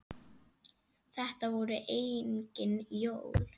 Þetta voru engin jól.